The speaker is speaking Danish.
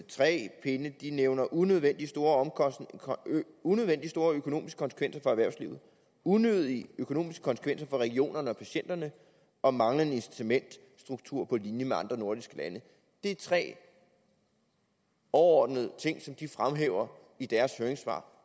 tre pinde de nævner unødvendig store unødvendig store økonomiske konsekvenser for erhvervslivet unødige økonomiske konsekvenser for regionerne og patienterne og manglende incitamentsstruktur på linje med andre nordiske lande det er tre overordnede ting som de fremhæver i deres høringssvar